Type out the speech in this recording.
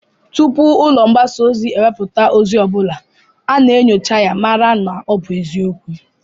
Tupu ụlọ mgbasa ozi ewepụta ozi ọ bụla, a na-aṅụcha ya, mara na ọ bụ eziokwu